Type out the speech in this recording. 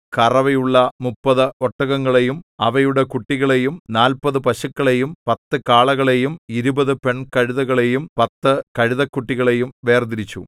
കറവയുള്ള മുപ്പത് ഒട്ടകങ്ങളെയും അവയുടെ കുട്ടികളെയും നാല്പതു പശുക്കളെയും പത്തു കാളകളെയും ഇരുപതു പെൺകഴുതകളെയും പത്തു കഴുതക്കുട്ടികളെയും വേർതിരിച്ചു